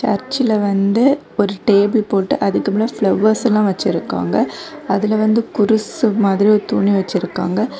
சர்ச்சில வந்து ஒரு டேபிள் போட்டு அதுக்கு அப்ரோ பிளவர்ஸ்ல வச்சிருக்காங்க அதுல குரூஸ் மாதிரி துணி வச்சிருக்காங்க.